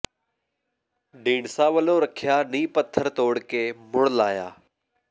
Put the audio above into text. ਢੀਂਡਸਾ ਵੱਲੋਂ ਰੱਖਿਆ ਨੀਂਹ ਪੱਥਰ ਤੋੜ ਕੇ ਮੁੜ ਲਾਇਆ